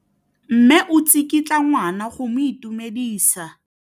Mme o tsikitla ngwana go mo itumedisa.